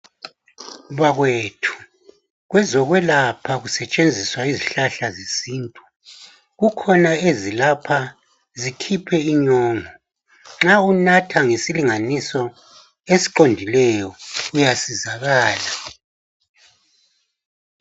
Bakwethu kwezokwelapha kusetshenziswa izihlahla zesintu, kukhona ezilapha zikhiphe inyongo. Nxa unatha ngesilinganiso esiqondileyo uyasizakala.